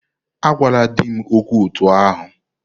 Agwala di m okwu otú ahụ!